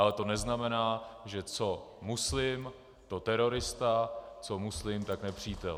Ale to neznamená, že co muslim, to terorista, co muslim, tak nepřítel.